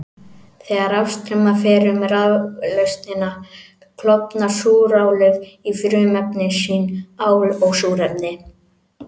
Þegar rafstraumur fer um raflausnina klofnar súrálið í frumefni sín, ál og súrefni.